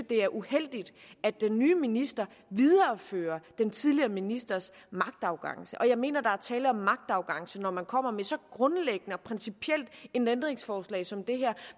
er uheldigt at den nye minister viderefører den tidligere ministers magtarrogance og jeg mener der er tale om magtarrogance når man kommer med så grundlæggende og principielt et ændringsforslag som det her